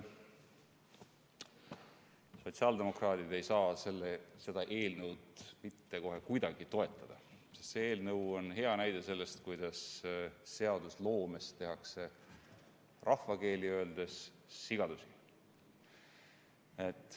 Sotsiaaldemokraadid ei saa seda eelnõu mitte kuidagi toetada, sest see eelnõu on hea näide sellest, kuidas seadusloomes tehakse rahvakeeli öeldes sigadusi.